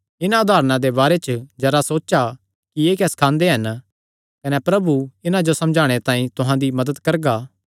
इन्हां उदारणा दे बारे च जरा सोचा कि एह़ क्या सखांदे हन कने प्रभु इन्हां जो समझणे तांई तुहां दी मदत करगा